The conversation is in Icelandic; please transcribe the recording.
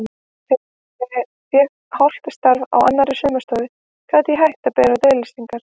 Þegar ég fékk hálft starf á annarri saumastofu gat ég hætt að bera út auglýsingarnar.